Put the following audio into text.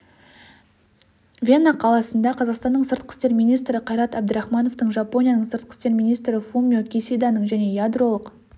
вена қаласында қазақстанның сыртқы істер министрі қайрат әбдірахмановтың жапонияның сыртқы істер министрі фумио кисиданың және ядролық